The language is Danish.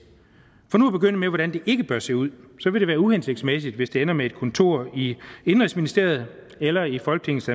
for nu at begynde med hvordan det ikke bør se ud så vil det være uhensigtsmæssigt hvis det ender med et kontor i indenrigsministeriet eller i folketingets